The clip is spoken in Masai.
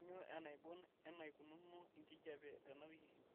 kainyio enaibon eneikununo enkijiape tenawiki